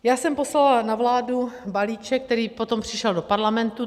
Já jsem poslala na vládu balíček, který potom přišel do Parlamentu.